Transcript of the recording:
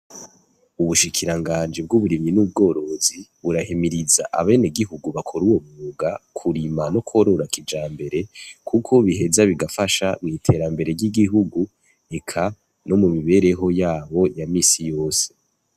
Ubushikiranganji bw'uburimyi n'ubworozi burahimiriza abenegihugu bakora uwo mwuga kurima no kworora kijambere kuko biheza bigafasha mw'iterambere ry'igihugu, eka no mumibereho yabo ya minsi yose